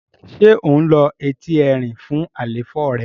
ṣe o ló Ẹti Ẹrin fún àléfọ rẹ?